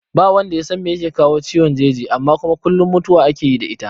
Ba wanda yasan me yake kawo ciwon jeji amma kuma kullum mutuwa ake yi da ita